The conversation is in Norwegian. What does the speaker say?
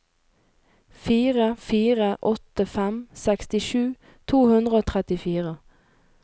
fire fire åtte fem sekstisju to hundre og trettifire